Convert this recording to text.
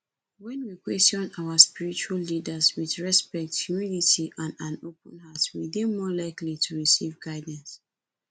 when we question our spiritual leaders with respect humility and an open heart we dey more likely to recieve guildance